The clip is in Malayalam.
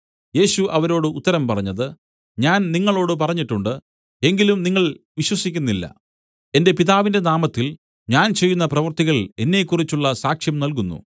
യേശു അവരോട് ഉത്തരം പറഞ്ഞത് ഞാൻ നിങ്ങളോടു പറഞ്ഞിട്ടുണ്ട് എങ്കിലും നിങ്ങൾ വിശ്വസിക്കുന്നില്ല എന്റെ പിതാവിന്റെ നാമത്തിൽ ഞാൻ ചെയ്യുന്ന പ്രവൃത്തികൾ എന്നെക്കുറിച്ചുള്ള സാക്ഷ്യം നൽകുന്നു